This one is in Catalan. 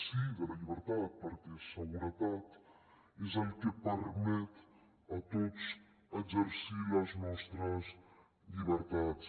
sí de la llibertat perquè seguretat és el que ens permet a tots exercir les nostres llibertats